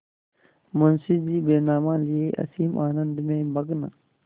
मुंशीजी बैनामा लिये असीम आनंद में मग्न